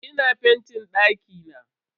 Ina fentin dakina.